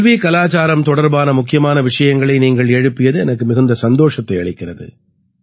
கல்விகலாச்சாரம் தொடர்பான முக்கியமான விஷயங்களை நீங்கள் எழுப்பியது எனக்கு மிகுந்த சந்தோஷத்தை அளிக்கிறது